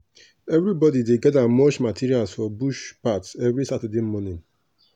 everybody dey gather mulch materials for bush path every saturday morning.